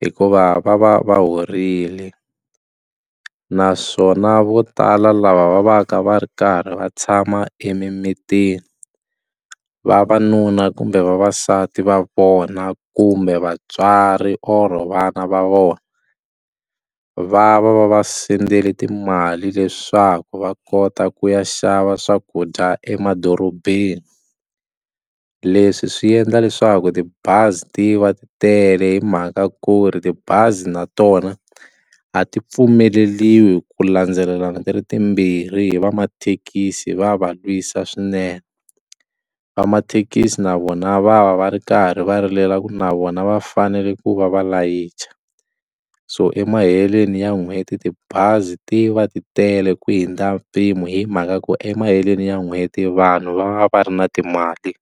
hikuva va va va horile naswona vo tala lava va va ka va ri karhi va tshama emimitini vavanuna kumbe vavasati va vona kumbe vatswari or vana va vona va va va va sendele timali leswaku va kota ku ya xava swakudya emadorobeni leswi swi endla leswaku tibazi ti va ti tele hi mhaka ku ri tibazi na tona a ti pfumeleriwi ku landzelelana ti ri timbirhi hi va mathekisi va va lwisa swinene vamathekisi na vona va va va ri karhi va rilela ku na vona va fanele ku va va layicha so emaheleni ya n'hweti tibazi ti va ti tele ku hundza mpimo hi mhaka ku emaheleni ya n'hweti vanhu va va va ri na timali.